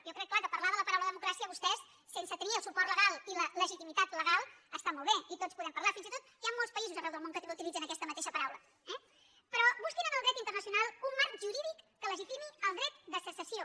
jo crec que és clar parlar de la paraula democràcia vostès sense tenir el suport legal i la legitimitat legal està molt bé i tots en podem parlar fins i tot hi ha molts països arreu del món que també utilitzen aquesta mateixa paraula eh però busquin en el dret internacional un marc jurídic que legitimi el dret de secessió